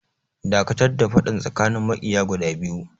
Dakatar da faɗan tsakanin maƙiya guda biyu!